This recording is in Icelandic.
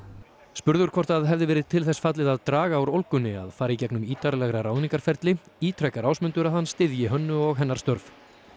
spurður hvort það hefði verið til þess fallið að draga úr ólgunni að fara í gegnum ítarlega ráðningarferli ítrekar Ásmundur að hann styðji Hönnu og hennar störf